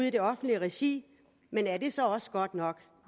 i det offentlige regi men er det så også godt nok